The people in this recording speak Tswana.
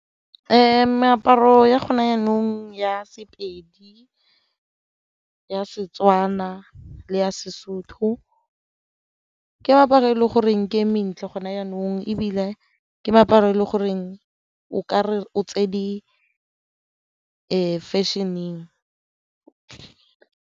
Meaparo ya go ne jaanong ya Sepedi, ya Setswana, le ya Sesotho ke meaparo e le goreng ke e mentle gona jaanong ebile ke meaparo e le goreng o kare o tse di fashion-eng.